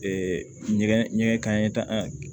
ɲɛgɛn ɲɛgɛn kaɲɛ tan